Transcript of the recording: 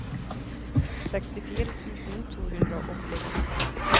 sekstifire tusen to hundre og åttiåtte